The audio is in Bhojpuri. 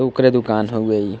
ओकरे दुकान हउए इ।